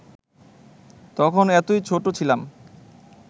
তখন এতই ছোট ছিলাম